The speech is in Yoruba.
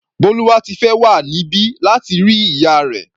Bólúwátifẹ́ wà níbí láti rí ìyá rẹ̀.